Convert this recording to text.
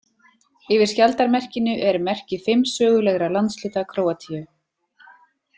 Yfir skjaldarmerkinu eru merki fimm sögulegra landshluta Króatíu.